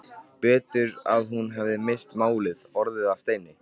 Betur að hún hefði misst málið, orðið að steini.